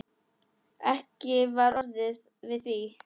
Ekki var orðið við því.